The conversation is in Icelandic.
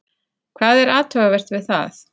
Hvað er athugavert við það?